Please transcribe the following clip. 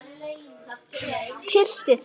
Tylltu þér.